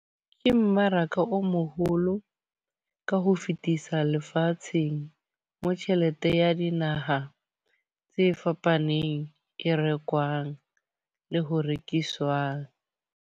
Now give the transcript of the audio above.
Ke mmaraka o moholo ka ho fetisa lefatsheng. Mo tjhelete ya dinaha tse fapaneng e rekwang le ho rekiswang.